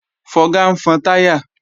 Fọga ń fọn táyà